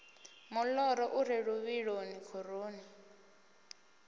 moḓoro u re luvhiloni khoroni